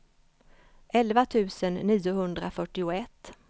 elva tusen niohundrafyrtioett